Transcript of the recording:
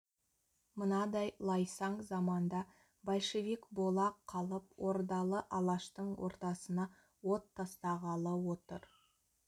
мынадай лайсаң заманда большевик бола қалып ордалы алаштың ортасына от тастағалы отыр